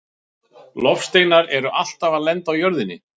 Loftsteinar eru alltaf að lenda á jörðinni.